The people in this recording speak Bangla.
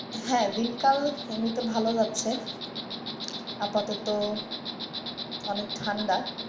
হ্যা দিনকাল এমনিতে ভালো যাচ্ছে আপাতত অনেক ঠান্ডা।